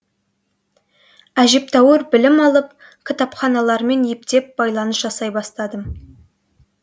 әжептәуір білім алып кітапханалармен ептеп байланыс жасай бастадым